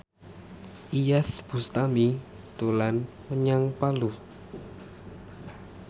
Iyeth Bustami dolan menyang Palu